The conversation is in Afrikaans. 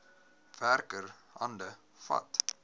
werker hande vat